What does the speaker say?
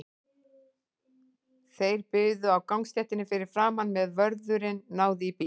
Þeir biðu á gangstéttinni fyrir framan, meðan vörðurinn náði í bílinn.